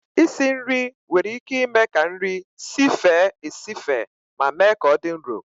Isi nri nwere ike ime ka nri sife esife ma mee ka ọ dị nro